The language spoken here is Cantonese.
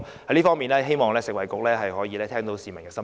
在這方面，我希望食物及衞生局聆聽市民的心聲。